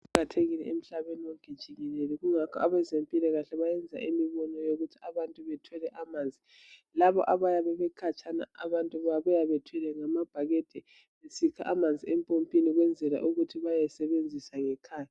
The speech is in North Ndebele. Kuqakathekile emhlabeni wonke jikelele kungakho ebezempilakahle bayenza imibono yokuthi abantu bethole amanzi. Laba abayabe bekhatshana abantu babuya bethwele ngamabhakede besikha amanzi empompini ukwenzela ukuthi bayesebenzisa ngekhaya.